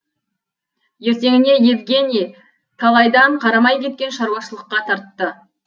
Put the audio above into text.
ертеңіне евгений талайдан қарамай кеткен шаруашылыққа тартты